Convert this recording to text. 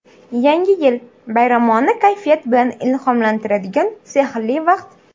Yangi yil – bayramona kayfiyat bilan ilhomlantiradigan sehrli vaqt.